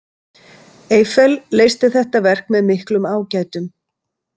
Eiffel leysti þetta verk með miklum ágætum.